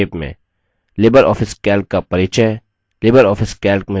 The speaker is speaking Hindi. लिबर ऑफिस calc का परिचय